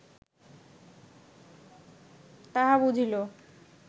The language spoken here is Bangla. তাহা বুঝিল